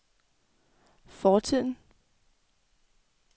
fortiden